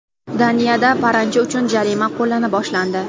Daniyada paranji uchun jarima qo‘llana boshlandi.